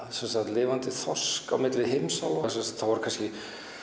lifandi þorsk á milli heimsálfa það voru kannski